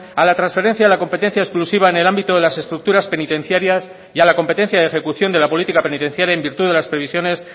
a la transferencia de la competencia exclusiva en el ámbito de las estructuras penitenciarias y a la competencia de ejecución de la política penitenciaria en virtud de las previsiones